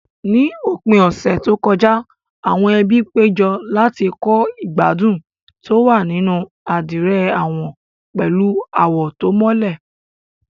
Ní òpin ọ̀sẹ̀ tó kọjá, àwọn ẹbí péjọ láti kọ́ ìgbádùn tó wà nínú àdìrẹ àwọn pẹ̀lú àwọ̀ tó mọ́lẹ̀.